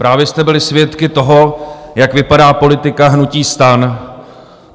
Právě jste byli svědky toho, jak vypadá politika hnutí STAN.